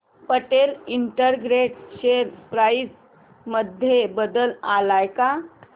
Patel integrate share price मध्ये बदल आलाय का